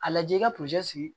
A lajɛ i ka sigi